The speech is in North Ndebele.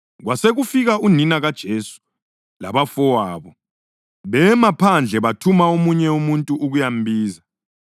Kwasekufika unina kaJesu labafowabo. Bema phandle bathuma omunye umuntu ukuyambiza.